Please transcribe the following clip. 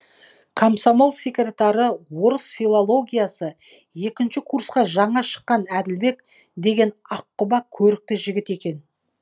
комсомол секретары орыс филологиясы екінші курсқа жаңа шыққан әділбек деген аққұба көрікті жігіт екен